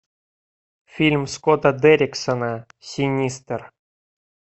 фильм скотта дерриксона синистер